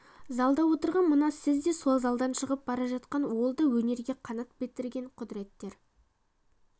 залда отырған мына сіз де сол залдан шығып бара жатқан ол да өнерге қанат бітірген құдыреттер